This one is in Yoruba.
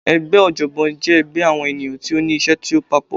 Ẹgbẹ́ ọ̀jọ̀gbọ́n jẹ́ ẹgbẹ́ àwọn ènìyàn tí ó ní iṣẹ́ tí ó papọ̀.